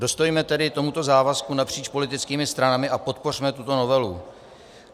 Dostojme tedy tomuto závazku napříč politickými stranami a podpořme tuto novelu.